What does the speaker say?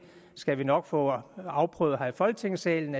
skal vi nok få afprøvet her i folketingssalen